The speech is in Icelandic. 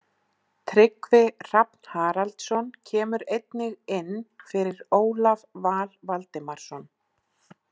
Tryggvi Hrafn Haraldsson kemur einnig inn fyrir Ólaf Val Valdimarsson.